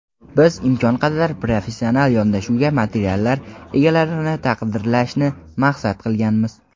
biz imkon qadar professional yondashuvdagi materiallar egalarini taqdirlashni maqsad qilganmiz.